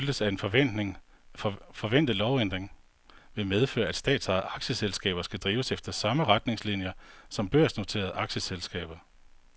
Det bemærkelsesværdige skifte skyldes, at en forventet lovændring vil medføre, at statsejede aktieselskaber skal drives efter samme retningslinier som børsnoterede aktieselskaber.